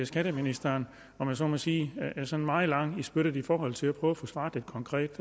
skatteministeren om jeg så må sige er sådan meget lang i spyttet i forhold til at prøve at få svaret konkret